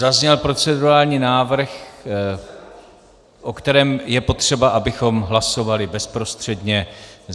Zazněl procedurální návrh, o kterém je potřeba, abychom hlasovali bezprostředně.